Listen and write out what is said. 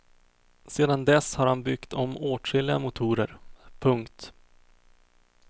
Sedan dess har han byggt om åtskilliga motorer. punkt